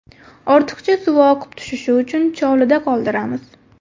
Ortiqcha suvi oqib tushishi uchun chovlida qoldiramiz.